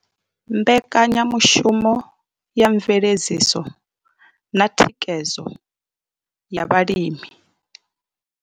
Mbekanyamushumo ya mveledziso na thikhedzo ya vhalimi.